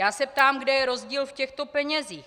Já se ptám, kde je rozdíl v těchto penězích.